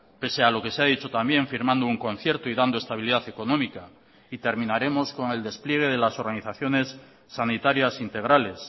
pese a lo que se ha dicho también firmando un concierto y dando estabilidad económica y terminaremos con el despliegue de las organizaciones sanitarias integrales